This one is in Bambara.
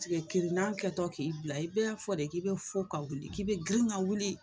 Sike kirinan kɛtɔ k'i bila i bɛ a fɔ de k'i be fo ka wuli k'i be girin ka wuli